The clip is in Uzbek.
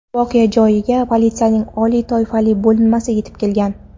Voqea joyiga politsiyaning oliy toifali bo‘linmasi yetib kelgan.